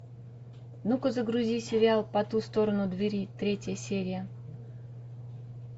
ну ка загрузи сериал по ту сторону двери третья серия